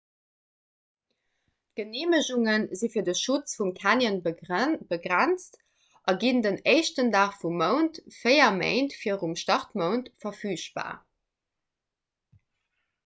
d'geneemegunge si fir de schutz vum canyon begrenzt a ginn den 1 dag vum mount véier méint virum startmount verfügbar